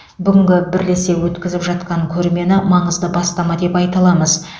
бүгінгі бірлесе өткізіп жатқан көрмені маңызды бастама деп айта аламыз